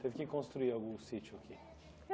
Teve que construir algum sítio aqui?